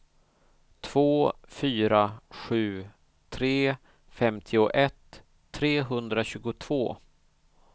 två fyra sju tre femtioett trehundratjugotvå